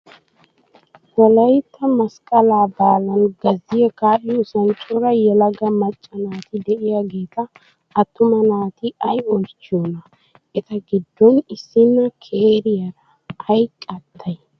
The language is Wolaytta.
Wolayitta masqqalaa baalan gazziyaa kaa''iyoosan coraa yelaga macca naati diyaageeta attumaa naati ayi oyichiyoonaa? Eta giddon issinna keriyaara ayi qaattayii?